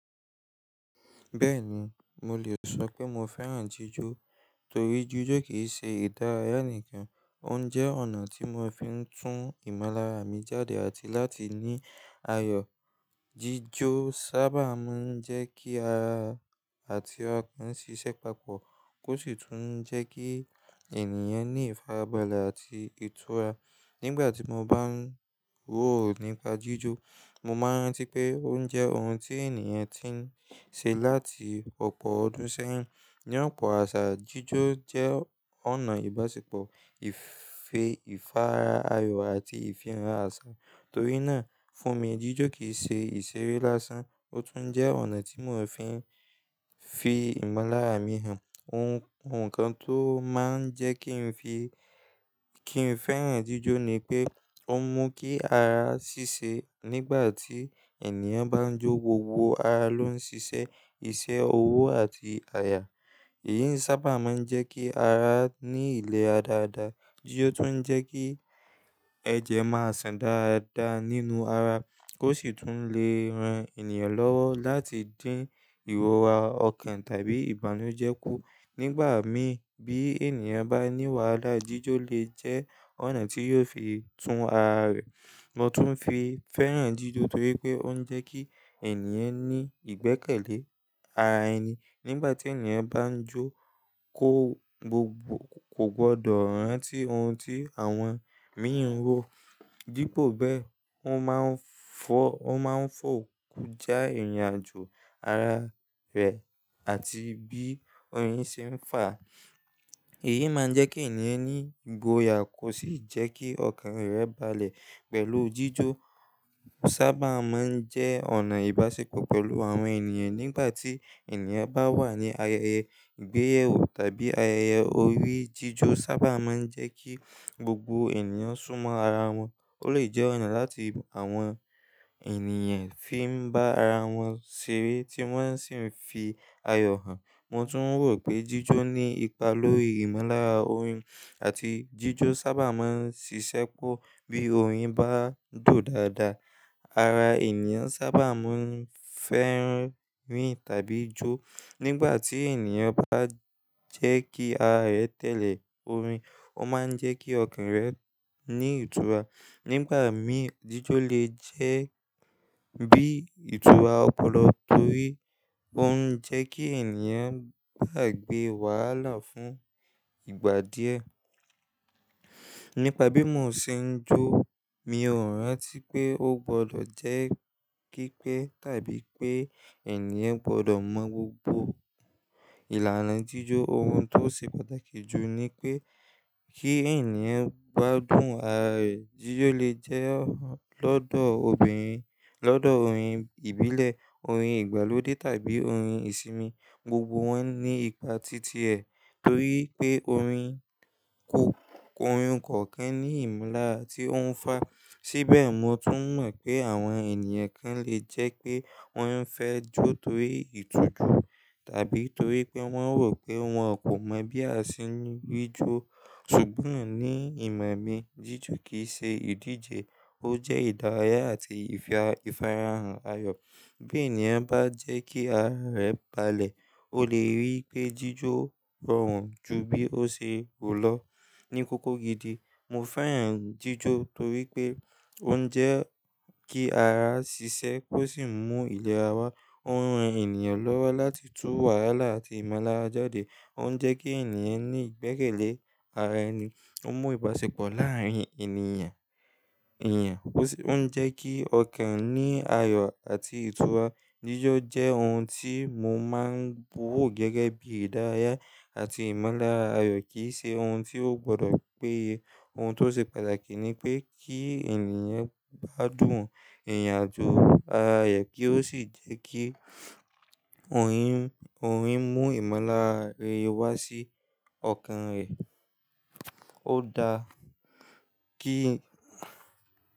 Bẹ́ẹ̀ni, mo lè sọ pé mo fẹ́ràn jíjó torí jíjó kì í ṣe ìdárayá nìkan, ó ń jẹ́ ọ̀nà tí mo fi ń tún ìmọ́lára mi jáde àti láti ní ayọ̀. Jíjó sábà máa ń jẹ́ kí ara àti ọkàn ṣiṣẹ́ papọ̀ kó sì tún jẹ́ kí ènìyàn ní ìfarabalẹ̀ àti ìtura. Nígbà tí mo bá ń wò ó nípa jíjó, mo máa ń rántí pé ó ń jẹ́ ohun tí ènìyàn ti ń ṣe láti ọ̀pọ̀ ọdún sẹ́yìn. Ní ọ̀pọ̀ àṣà, jíjó jẹ́ ọ̀nà ìbáṣepọ̀, ìfe ìfarayà àti ìfihàn àṣà. Torí náà, fún mi, jíjó kì í ṣe ìṣeré lásán, ó tún jẹ́ ọ̀nà tí mo fi ń fi ìmọ́lára mi hàn. Ohun kan tó máa ń jẹ́ kí n fi-- kí n fẹ́ràn jíjó ni pé ó ń mú kí ara ṣíṣe. Nígbà tí ènìyàn bá ń jó, gbogbo ara ló ń ṣiṣẹ́, iṣẹ́ ọwọ́ àti àyà. Èyí sábà máa ń jẹ́ kí ara ní ilẹ̀ra dáada. Jíjó tún ń jẹ́ kí ẹ̀jẹ̀ máa sàn dáadáa nínú ara kó sì tún lè ran ènìyàn lọ́wọ́ láti dín ìrọ̀ra ọkàn tàbí ìbànújẹ́ kú. Nígbà mì, bí ènìyàn bá ní wàhálà, jíjó lè jẹ́ ọ̀nà tí yóò fi tú ara rẹ̀. Mo tún fi fẹ́ràn jíjó torí pé ó ń jẹ́ kí ènìyàn ní ìgbẹ́kẹ̀lé ara ẹni. Nígbà tí ènìyàn bá ń jó kó kò gbọdọ̀ rántí ohun tí àwọn míì ń ro. Dípo bẹ́ẹ̀, ó máa ń fọ́-- ó máa ń fòkú já ìrìnàjò ara rẹ̀ àti bí oyin ṣe ń fà. Èyí máa ń jẹ́ kí ènìyàn ní ìgboyà kó sì jẹ́ kí ọkàn rẹ̀ balẹ̀. Pẹ̀lú jíjó sábà máa ń jẹ́ ọ̀nà ìbáṣepọ̀ pẹ̀lú àwọn ènìyàn. Nígbà tí ènìyàn bá wà ní ayẹyẹ ìgbéyàwó tàbí ayẹyẹ orí, jíjó sábà máa ń jẹ́ kí gbogbo ènìyàn súnmọ́ ara wọn. Ó lè jẹ́ ọ̀nà láti àwọn ènìyàn fi ń bá ara wọn ṣeré tí wọ́n sì ń fi ayọ̀ hàn. Mo tún rò pé jíjó ní ipa lórí ìmọ́lára orin àti jíjó sábà máa ń ṣiṣẹ́ po bí orin bá dùn dáadáa. Ara ènìyàn sábà máa ń fẹ́ rìn tàbí jó. Nígbà tí ènìyàn bá jẹ́ kí ara rẹ̀ tẹ̀lé orin, ó máa ń jẹ́ kí ọkàn rẹ̀ ní ìtura. Nígbà mì, jíjó lè jẹ́ bí ìtura ọpọlọ torí ó ń jẹ́ kí ènìyàn gbàgbé wàhálà fún ìgbà díẹ̀. Nípa bí mo ṣe ń jó, mi ò rántí pé ó gbọdọ̀ jẹ́ pipe tàbí pé ènìyàn gbọdọ̀ mọ̀ gbogbo ìlànà jíjó. Ohun tó ṣe pàtàkì jù ni pé kí ènìyàn gbádùn ara rẹ̀. Jíjó lè jẹ́ lọ́dọ̀ obìnrin, lọ́dọ̀ orin ìbílẹ̀, orin ìgbàlódé tàbí orin ìsinmi. Gbogbo wọ́n ní ipa titi ẹ̀ torí pé orin kọ̀ọ́-- orin kọ̀ọ́kan ní ìmúlá ti o hun fá. Síbẹ̀, mo tún mọ̀ pé àwọn ènìyàn kan lè jẹ́ pé wọ́n fẹ́ jó torí ìtiju tàbí torí pé wọ́n rò pé wọ́n kò mọ̀ bí a ṣe ń ji jó. Ṣùgbọ́n ní ìmọ̀ mi, jíjó kì í ṣe ìdíje, ó jẹ́ ìdárayá àti ìfara hàn ayọ̀. Bí ènìyàn bá jẹ́ kí ara rẹ̀ balẹ̀, ó lè rí pé jíjó rọrùn ju bí ó ṣe rù lọ. Ni kókó gidi, mo fẹ́ràn jíjó torí pé ó ń jẹ́ kí ara ṣiṣẹ́ kó sì mú ilẹ̀ ara wá. Ó ń ran ènìyàn lọ́wọ́ láti tú wàhálà àti ìmọ́lára jáde. Ó ń jẹ́ kí ènìyàn ní ìgbẹ́kẹ̀lé ara ẹni, ó ń mú ìbáṣepọ̀ láàárín ènìyàn, èeyan. Ó ń jẹ́ kí ọkàn ní ayọ̀ àti ìtura. Jíjó jẹ́ ohun tí mo máa ń wò gẹ́gẹ́ bí ìdárayá àti ìmọ́lára ayọ̀ kì í ṣe ohun tí ó gbọdọ̀ péye. Ohun tó ṣe pàtàkì ni pé kí ènìyàn gbádùn ìrìnàjò ara rẹ̀ kí ó sì jẹ́ kí orin, orin mú ìmọ́lára rẹ wá sí ọkàn rẹ. Ó da kí.